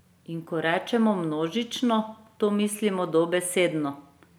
In ko rečemo množično, to mislimo dobesedno!